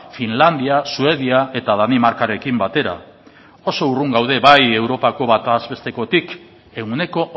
finlandia suedia eta danimarkarekin batera oso urrun gaude bai europako batez bestekotik ehuneko